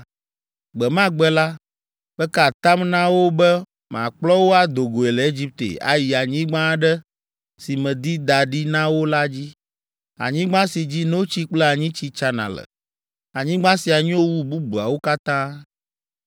Gbe ma gbe la, meka atam na wo be makplɔ wo ado goe le Egipte ayi anyigba aɖe si medi da ɖi na wo la dzi, anyigba si dzi notsi kple anyitsi tsana le. Anyigba sia nyo wu bubuawo katã.